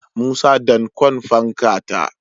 Musa dankon fanka ta